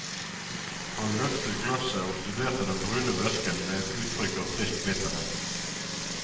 Han løftet glasset og studerte den brune væsken med et utrykk av trist bitterhet.